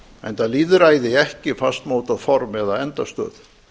enda lýðræði ekki fastmótað form eða endastöð